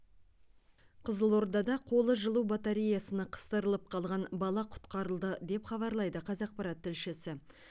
қызылордада қолы жылу батареясына қыстырылып қалған бала құтқарылды деп хабарлайды қазақпарат тілшісі